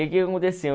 que que aconteceu?